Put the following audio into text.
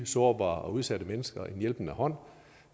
sårbare og udsatte mennesker en hjælpende hånd